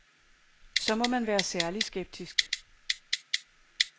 Så må man være særlig skeptisk.